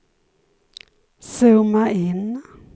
zooma in